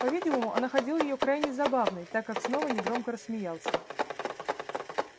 по-видимому он находил её крайне забавной так как снова негромко рассмеялся